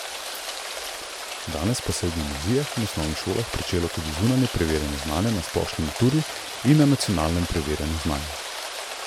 Danes pa se je v gimnazijah in osnovnih šolah pričelo tudi zunanje preverjanje znanja, na splošni maturi in na nacionalnem preverjanju znanja.